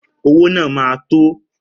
Owó náà ma tó